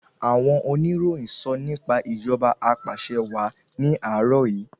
Àwọn oníròyìn sọ nípa ìjọba apàṣẹwàá ní àárò yìí.